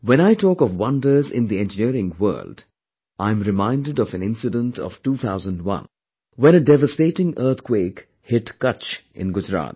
When I talk of wonders in the Engineering world, I am reminded of an incident of 2001 when a devastating earth quake hit Kutch in Gujarat